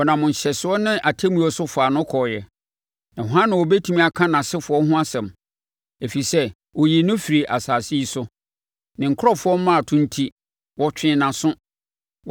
Wɔnam nhyɛsoɔ ne atemmuo so faa no kɔɔeɛ. Na hwan na ɔbɛtumi aka nʼasefoɔ ho asɛm? Ɛfiri sɛ wɔyii no firii asase yi so; me nkurɔfoɔ mmarato enti, wɔtwee nʼaso.